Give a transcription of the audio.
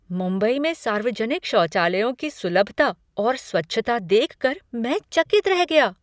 मुंबई में सार्वजनिक शौचालयों की सुलभता और स्वच्छता देख कर मैं चकित रह गया।